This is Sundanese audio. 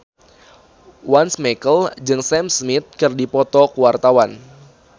Once Mekel jeung Sam Smith keur dipoto ku wartawan